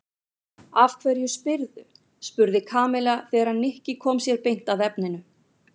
Af hverju spyrðu? spurði Kamilla þegar Nikki kom sér beint að efninu.